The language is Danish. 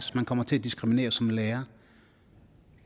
man kommer til at diskriminere som lærer